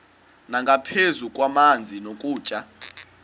nangaphezu kwamanzi nokutya